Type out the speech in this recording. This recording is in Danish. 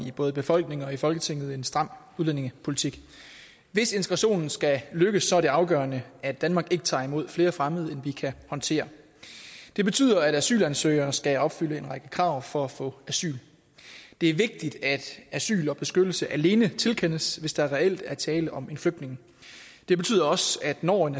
i både befolkningen og folketinget en stram udlændingepolitik hvis integrationen skal lykkes er det afgørende at danmark ikke tager imod flere fremmede end vi kan håndtere det betyder at asylansøgere skal opfylde en række krav for at få asyl det er vigtigt at asyl og beskyttelse alene tilkendes hvis der reelt er tale om en flygtning det betyder også at når en